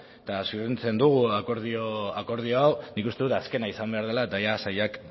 eta zoriontzen dugu akordio hau nik uste dut azkena izan behar dela eta sailak